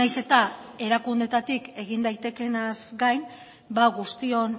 nahiz eta erakundeetatik egin daitekeenaz gain ba guztion